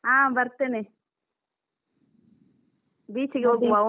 ಹಾ ಬರ್ತೇನೆ beach ಗೆ ಹೋಗುವ.